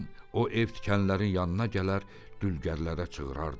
O ev tikənlərin yanına gələr, dülgərlərə cığırardı.